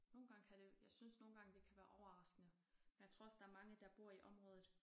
Nogle gange kan det jeg synes nogle gange det kan være overraskende men jeg tror også der er mange der bor i området